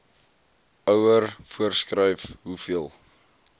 ouer voorskryf hoeveel